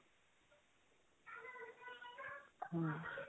ਹਾਂਜੀ